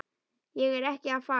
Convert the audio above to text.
Ég er ekki að fara.